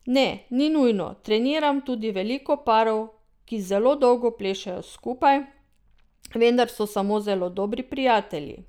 Ne, ni nujno, treniram tudi veliko parov, ki zelo dolgo plešejo skupaj, vendar so samo zelo dobri prijatelji.